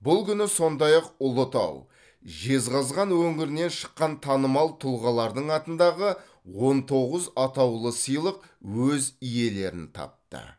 бұл күні сондай ақ ұлытау жезқазған өңірінен шыққан танымал тұлғалардың атындағы он тоғыз атаулы сыйлық өз иелерін тапты